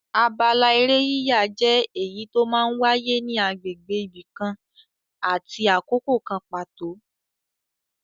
Abala eré yíyà jẹ́ èyí tó máa ń wáyé ní agbègbè ibi kan àti àkókò kan pàtó.